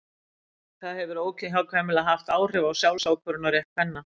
það hefur óhjákvæmilega haft áhrif á sjálfsákvörðunarrétt kvenna